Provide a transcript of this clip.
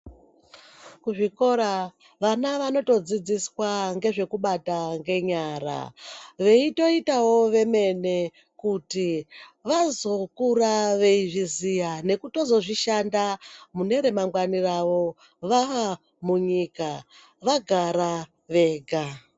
Kuzvikora vana vanotodzidziswa ngezvekubata ngenyara. Veitoitawo vemene kuti vazokura veizviziya nekuto zozvishanda mune remangwani ravo, vaamunyika vagara vega.